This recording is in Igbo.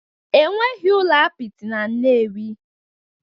Enweghị ụlọ apịtị na Nnewi